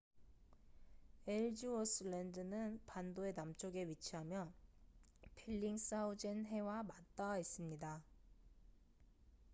엘즈워스랜드는 반도의 남쪽에 위치하며 벨링스하우젠 해와 맞닿아 있습니다